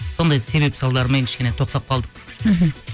сондай себеп салдармен кішкене тоқтап қалдық мхм